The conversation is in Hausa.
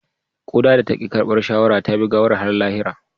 Kuda da ta ki karbar shawara ta bi gawar har lahira